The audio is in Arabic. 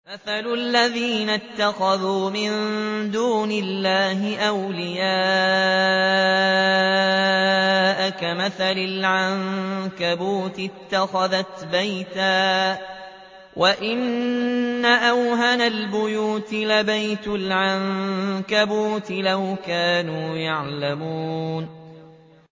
مَثَلُ الَّذِينَ اتَّخَذُوا مِن دُونِ اللَّهِ أَوْلِيَاءَ كَمَثَلِ الْعَنكَبُوتِ اتَّخَذَتْ بَيْتًا ۖ وَإِنَّ أَوْهَنَ الْبُيُوتِ لَبَيْتُ الْعَنكَبُوتِ ۖ لَوْ كَانُوا يَعْلَمُونَ